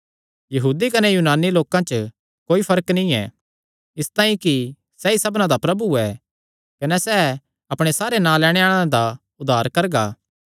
यहूदी कने यूनानी लोकां च कोई फर्क नीं ऐ इसतांई कि सैई सबना दा प्रभु ऐ कने सैह़ अपणे सारे नां लैणे आल़ेआं दा उद्धार करदा ऐ